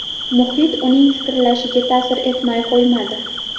Muhit uning fikrlashiga ta’sir etmay qo‘ymadi.